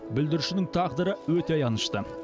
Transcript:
бүлдіршіннің тағдыры өте аянышты